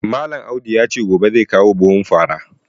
Malam Audu ya ce gobe zai kawo buhun fara